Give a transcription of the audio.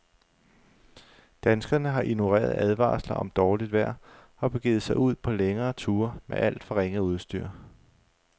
Danskerne har ignoreret advarsler om dårligt vejr og begivet sig ud på længere ture med alt for ringe udstyr.